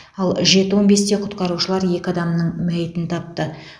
ал жеті он бесте құтқарушылар екі адамның мәйітін тапты